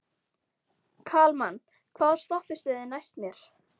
Kalman, hvaða stoppistöð er næst mér?